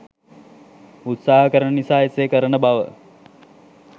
උත්සාහ කරන නිසා එසේ කරන බව